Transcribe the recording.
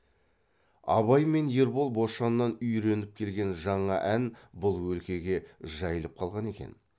абай мен ербол бошаннан үйреніп келген жаңа ән бұл өлкеге жайылып қалған екен